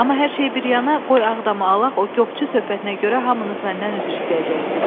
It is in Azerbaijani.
Amma hər şey bir yana, qoy Ağdamı alaq, o qopçu söhbətinə görə hamınız məndən üzr istəyəcəksiz.